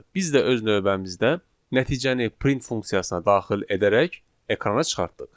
Biz də öz növbəmizdə nəticəni print funksiyasına daxil edərək ekrana çıxartdıq.